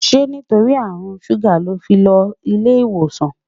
ṣé torí àrùn ṣuga ló fí ló ilé ìwòsàn?